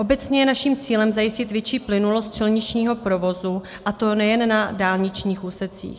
Obecně je naším cílem zajistit větší plynulost silničního provozu, a to nejen na dálničních úsecích.